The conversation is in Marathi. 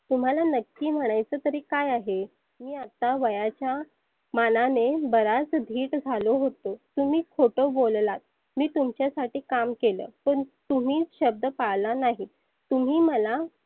तुम्हाला नक्की म्हणायच तरी काय आहे? मी आता वयाच्या मानाने बराच धिट झालो होतो. तुम्ही खोट बोललात, मी तुमच्यासाठी काम केलं पण तुम्ही शब्द पाळला नाही तुम्ही मला